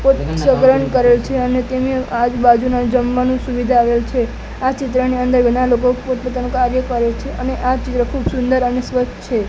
સ્વગરન કરેલ છે અને તેને આજુબાજુના જમવાનું સુવિધા આવેલ છે આ ચિત્રની અંદર ઘણા લોકો પોતપોતાનું કાર્ય કરે છે અને આ ચિત્ર ખુબ સુંદર અને સ્વચ્છ છે.